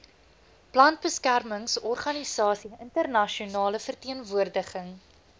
plantbeskermingsorganisasie internasionale verteenwoordiging